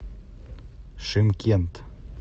шымкент